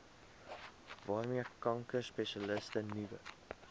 waarmee kankerspesialiste nuwe